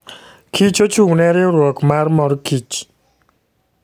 Kich ochung'ne riwruok mar mor kich.